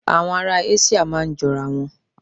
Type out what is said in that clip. Àwọn ará Áṣííà máa ń jọ ara wọn.